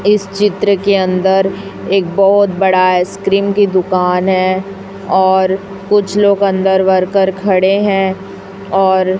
इस चित्र के अंदर एक बहोत बड़ा आइसक्रीम की दुकान है और कुछ लोग अंदर वर्कर खड़े हैं और--